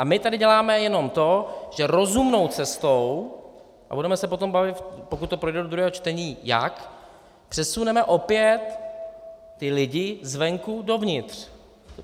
A my tady děláme jenom to, že rozumnou cestou, a budeme se potom bavit, pokud to projde do druhého čtení, jak, přesuneme opět ty lidi zvenku dovnitř.